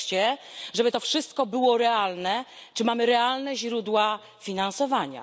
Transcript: Wreszcie, żeby to wszystko było realne, czy mamy realne źródła finansowania?